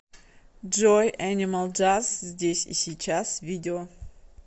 джой энимал джаз здесь и сейчас видео